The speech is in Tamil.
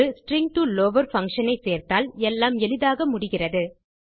ஒரு எஸ்டிஆர் டோ லவர் பங்ஷன் ஐ சேர்த்தால் எல்லாம் எளிதாக முடிகிறது